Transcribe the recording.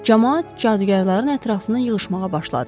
Camaat cadugarların ətrafına yığışmağa başladı.